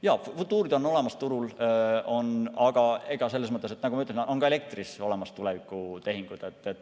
Jaa, futuurid on olemas turul, aga nagu ma ütlesin, ka elektri puhul on olemas tulevikutehingud.